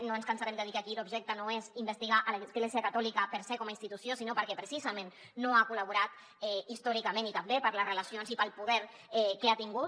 no ens cansarem de dir que aquí l’objecte no és investigar l’església catòlica per se com a institució sinó perquè precisament no ha col·laborat històricament i també per les relacions i pel poder que ha tingut